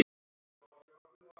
Rekur mig í burtu?